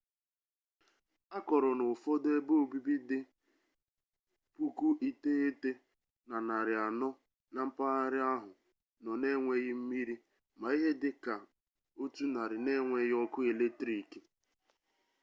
a kọrọ na ụfọdụ ebeobibi dị 9400 na mpaghara ahụ nọ na-enweghị mmiri ma ihe dị ka 100 na-enweghị ọkụ eletriki